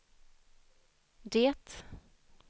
det